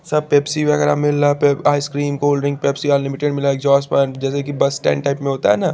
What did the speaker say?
सब पेप्सी वगेरा मिलरा पेप ice cream cold drink Pepsi unlimited milk जेसे की बस स्टैंड टाइप में होता है हेना--